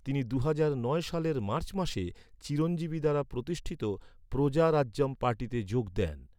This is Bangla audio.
তিনি দুহাজার নয় সালের মার্চ মাসে চিরঞ্জীবী দ্বারা প্রতিষ্ঠিত প্রজা রাজ্যম পার্টিতে যোগ দেন।